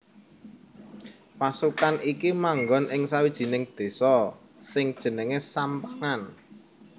Pasukan iki manggon ing sawijining désa sing jenengé Sampangan